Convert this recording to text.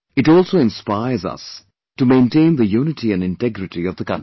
It also inspires us to maintain the unity & integrity of the country